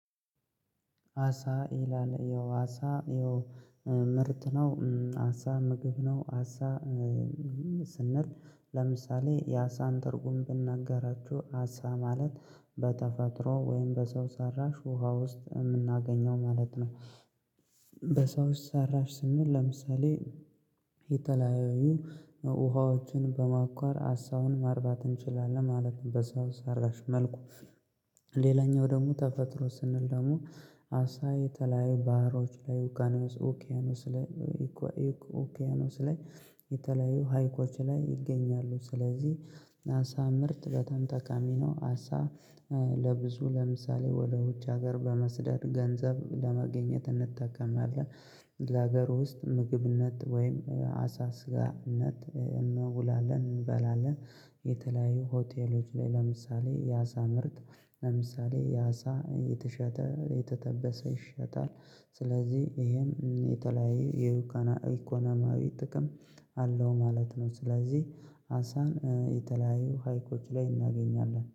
አሳ ኤላ ላይ ያው አሳ ያው ምርት ነው አሳ ምግብ ነው አሳ ስንል ለምሳሌ የአሳን ትርጉም ብናገራችሁ አሳ ማለት በተፈጥሮ ወይም በሰው ሰራሽ ውሃ ውስጥ የምናገኘው ማለት ነው። በሰው ሰራሽ ስንል ለምሳሌ የተለያዩ ውሃዎችን በማቆር አሳውን ማርባት እንችላለን ማለት በሰው ሰራሽ መልኩ። ሌላኛው ደግሞ ተፈጥሮ ስንል ደግሞ አሳ የተለያዩ ባህሮች ላይ ውቅያኖስ ላይ የተለያዩ ሀይቆች ላይ ይገኛሉ። ስለዚህ አሳ ምርት በጣም ተቃሚ ነው። አሳ ለብዙ ለምሳሌ ወደ ውጭ ሀገር በመስደድ ገንዘብ ለማግኘት እንጠቀምአለን ለሀገሩ ውስጥ ምግብነት ወይም አሳ ስጋነት እንውላለን እንበላለን። የተለያዩ ሆቴሎች ላይ ለምሳሌ ያሳ ምርት ለምሳሌ ያሳ የተሸጠ የተጠበሰ ይሸጣል ስለዚህ ይሄም የተለያየ የውካና ኢኮኖሚያዊ ጥቅም አለው ማለት ነው። ስለዚህ አንሳን የተለያዩ ሀይቆች ላይ እናገኛለን